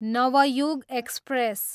Navyug express